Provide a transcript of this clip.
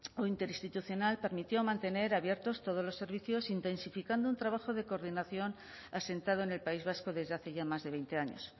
o interinstitucional permitió mantener abiertos todos los servicios intensificando un trabajo de coordinación asentado en el país vasco desde hace ya más de veinte años